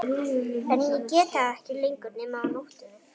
En ég get það ekki lengur nema á nóttunni.